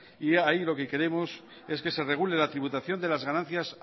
y ahí lo que queremos es que se regule la tributación de las ganancias